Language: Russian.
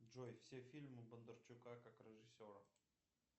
джой все фильмы бондарчука как режиссера